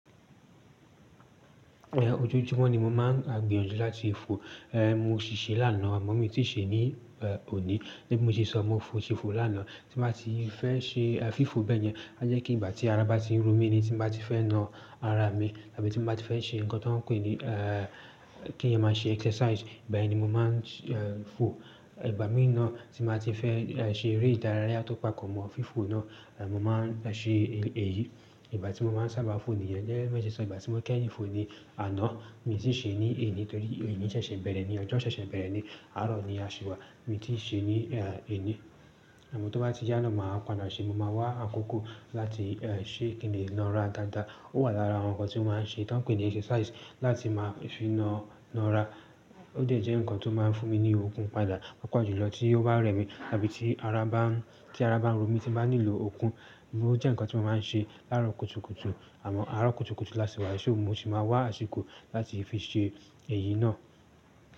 Ojoojúmọ̀ ni mo máa ń gbinyanjú láti. Mo ṣì ṣe lánàá, àmọ́ mi tí ì ṣe ní òní. Gẹ́gẹ́ bí mo se sọ, mo si fo lánàá tí màá ti fẹ́ ṣe fífò bẹ́ẹ̀ yẹn. A jẹ́ pe ìgbà tí ara bá ti ń ro mí ni tí mo bá ti fẹ́ na ara mi tàbí tí mo bá ti fẹ́ ṣe nǹkan tí wọ́n ń pè ní kí eeyan máa ṣe exercise, ìgbà yẹn ni mo máa ń fo. Ìgbà mí nàá tí n bàá ti fẹ́ ṣe eré ìdárayá tó pàpọ́ mọ́ fífò náà, mo máa ń ṣe èyí. Ìgbà tí mo máa ń sábà fo níyẹn gẹ́gẹ́ bí mo se sọ, ìgbà tí mo kẹ́yìn fo ni àná, mi tì ṣe ní èní torí òní ṣẹ̀ṣẹ̀ bẹ̀rẹ̀ ni, ọjọ́ ṣẹ̀ṣẹ̀ bẹ̀rẹ̀ ni, àárọ̀ ni a ṣì wà, mi tí ì ṣe ní èní. Àmọ́ tó bá ti yá náà, màá pàádà ṣe, mo máa wá àkókò láti ṣe kí n lè na ara daadaa. Ó wà lára àwọn nǹkan tí mo máa ń se tí wọ́n ń pè ní exercise láti máa fi na, na ara. Ó dẹ́ je ǹkan tó máa ń fún mi ní okun padà papọ̀ julọ tí ó bá rẹ̀ mí tàbí tí ara bá ń, tí ara bá ń ro mí tí bàá nílò okun. Ó jẹ́ nǹkan tí mo máa ń ṣe láàárọ̀ kùtùkùtù àmọ́ àárọ̀ kùtùkùtù lási wá, yì mó si máa wá àsìkò láti fi ṣe èyí náà.